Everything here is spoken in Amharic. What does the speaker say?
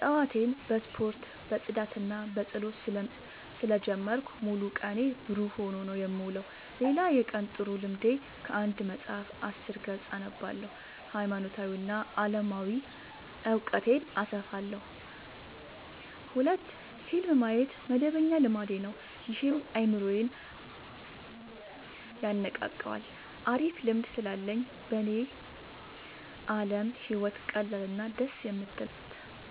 ጠዋቴን በስፖርት በፅዳትና በፀሎት ስለ ጀመርኩት ሙሉ ቀኔ ብሩህ ሆኖ ነው የምውለው። ሌላ የቀን ጥሩ ልምዴ ከአንድ መፀሀፍ አስር ገፅ አነባለሁ ሀይማኖታዊ እና አለማዊ እውቀቴን አሰፋለሁ። ሁለት ፊልም ማየት መደበኛ ልማዴ ነው ይህም አይምሮዬን የነቃቃዋል አሪፍ ልምድ ስላለኝ በኔ አለም ህይወት ቀላል እና ደስ የምትል ናት።